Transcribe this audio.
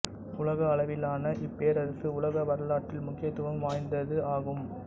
உலக அளவிலான இப்பேரரசு உலக வரலாற்றில் முக்கியத்துவம் வாய்ந்தது ஆகும்